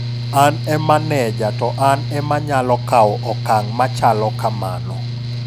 An e maneja to an ema nyalo kaw okang' machalo kamano.